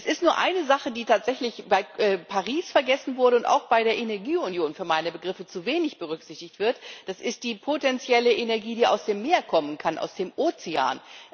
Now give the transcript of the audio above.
Es gibt nur eine Sache, die tatsächlich in Paris vergessen wurde und auch bei der Energieunion für meine Begriffe zu wenig berücksichtigt wird die potenzielle Energie, die aus dem Meer kommen kann, aus dem Ozean.